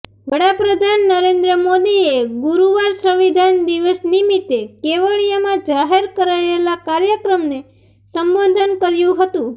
વડા પ્રધાન નરેન્દ્ર મોદીએ ગુરુવારે સંવિધાન દિવસ નિમિત્તે કેવડિયામાં જાહેર કરાયેલા કાર્યક્રમને સંબોધન કર્યું હતું